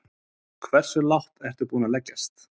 Hversu lágt ertu tilbúinn að leggjast?